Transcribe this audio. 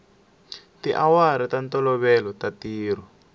tiawara ta ntolovelo ta ntirho